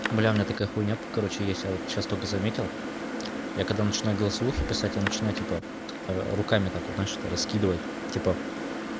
бля у меня такая хуйня короче есть я вот сейчас только заметил я когда начинаю голосовухи писать я начинаю типа руками так вот знаешь это раскидывать типа